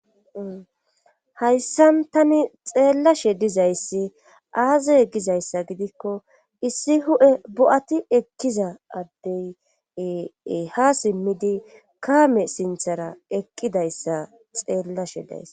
hayssan tani xeellashe dizayssi aaza egizayssa gidikko issi hu7e bo7ati ekkiza addeyee ha simmidi kaame sinthara eqqidayssa xeellashe dayss